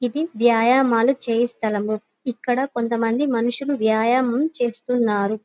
ఇది వ్యాయమాలు చేయు స్థలము ఇక్కడ కొంత మంది మనుసులు వ్యాయామం చేస్తున్నారు.